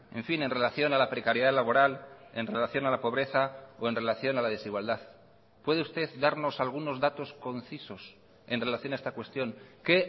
en fin en relación a la precariedad laboral en relación a la pobreza o en relación a la desigualdad puede usted darnos algunos datos concisos en relación a esta cuestión qué